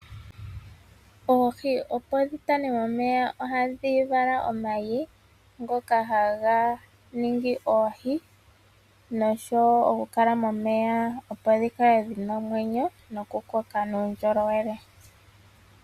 Oohi opo dhi tane momeya ohadhi vala omayi ngoka haga ningi oohi noshowo okukala momeya opo dhi kale dhi na omwenyo nokukoka nuundjolowele.